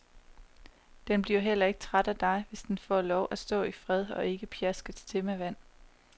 Den bliver heller ikke træt af dig, hvis den får lov at stå i fred og ikke pjaskes til med vand.